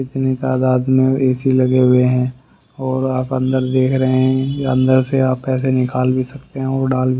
इतनी तादाद में एसी लगे हुए हैं और अंदर देख रहे हैं अंदर से आप पैसे निकाल भी सकते हैं और डाल भी--